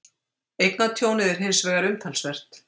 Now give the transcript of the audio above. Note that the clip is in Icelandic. Eignatjónið er hins vegar umtalsvert